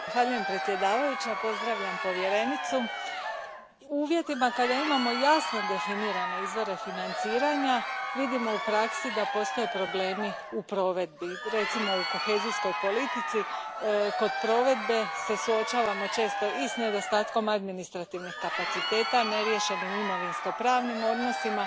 Gospođo predsjednice, u uvjetima kada imamo jasno definirane izvore financiranja, vidimo u praksi da postoje problemi u provedbi, recimo u kohezijskoj politici, kod provedbe se suočavamo često i s nedostatkom administrativnih kapaciteta, neriješenim imovinsko pravnim odnosima,